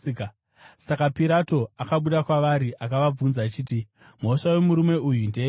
Saka Pirato akabuda kwavari akavabvunza achiti, “Mhosva yomurume uyu ndeyeiko?”